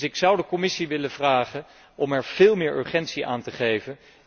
Ik zou dus de Commissie willen vragen om er veel meer urgentie aan te geven.